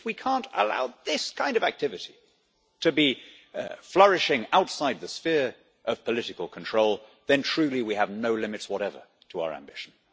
If we can't allow this kind of activity to be flourishing outside the sphere of political control, then truly we have no limits whatever to our ambition.